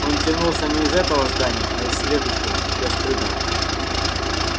он тянулся не из этого здания а из следующего ещё скрытого